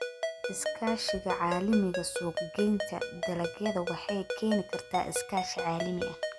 Iskaashiga Caalamiga Suuqgeynta dalagyada waxay keeni kartaa iskaashi caalami ah.